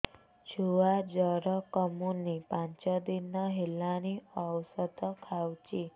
ଛୁଆ ଜର କମୁନି ପାଞ୍ଚ ଦିନ ହେଲାଣି ଔଷଧ ଖାଉଛି